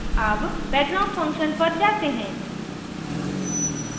अब background function पर जाते हैं